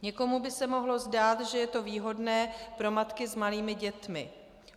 Někomu by se mohlo zdát, že je to výhodné pro matky s malými dětmi.